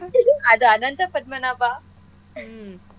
ಅದು ಅನಂತಪದ್ಮನಾಭ .